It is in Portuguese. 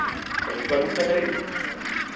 Então, a gente vai muito na galeria.